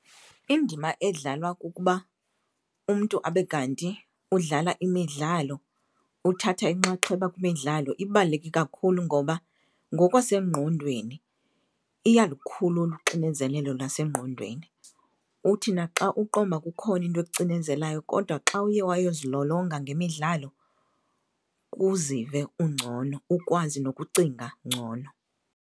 Indima edlalwa kukuba umntu abe kanti udlala imidlalo, uthatha inxaxheba kwimidlalo, ibaluleke kakhulu ngoba ngokwasengqondweni iyalukhulula uxinezelelo lwasengqondweni. Uthi naxa uqonda uba kukhona into ekucinezelayo kodwa xa uye wayozilolonga ngemidlalo uzive ungcono ukwazi nokucinga ngcono.